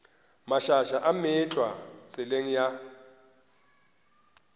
mašaša a meetlwa tseleng ya